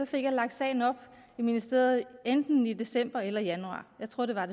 fik jeg lagt sagen op i ministeriet enten i december eller januar jeg tror at det var